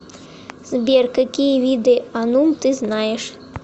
сбер какие виды анум ты знаешь